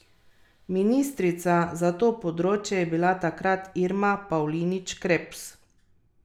Ministrica za to področje je bila takrat Irma Pavlinič Krebs.